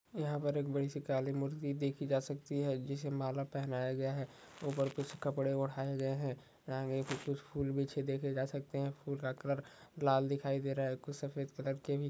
यहाँ पर एक बड़ी सी काली मूर्ति देखी जा सकती है जिसे माला पहनाया गया है ऊपर कुछ कपड़े ओढ़ाए गए है यहाँ पे कुछ फूल बिछे देखे जा सकते है फूल का कलर लाल दिखाई दे रहा है कुछ सफ़ेद कलर के भी--